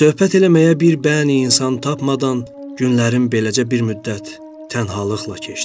Söhbət eləməyə bir bəni insan tapmadan günlərim beləcə bir müddət tənhalıqla keçdi.